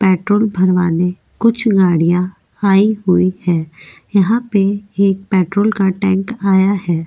Petrol भरवाने कुछ गाड़ियां आई हुई है यहां पे एक पेट्रोल का टैंक आया है।